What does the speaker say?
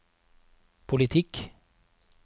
politikk